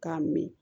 K'a min